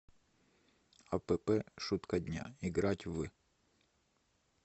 апп шутка дня играть в